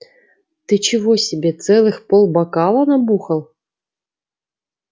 ты чего себе целых полбокала набухал